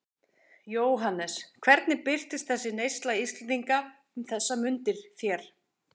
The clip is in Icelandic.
Jóhannes: Hvernig birtist þessi neysla Íslendinga um þessar mundir þér?